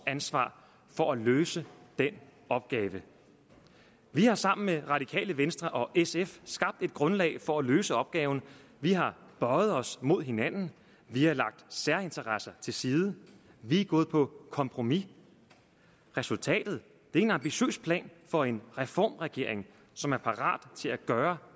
ansvar for at løse den opgave vi har sammen med radikale venstre og sf skabt et grundlag for at løse opgaven vi har bøjet os mod hinanden vi har lagt særinteresser til side vi er gået på kompromis resultatet er en ambitiøs plan for en reformregering som er parat til at gøre